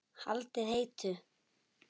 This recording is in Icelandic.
Haldið heitu.